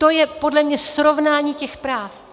To je podle mě srovnání těch práv.